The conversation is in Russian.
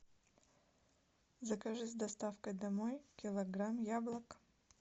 закажи с доставкой домой килограмм яблок